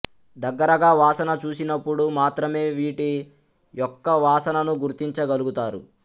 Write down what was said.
దగ్గరగా వాసన చూసినపుడు మాత్రమే వీటి యొక్క వాసనను గుర్తించగలుగుతారు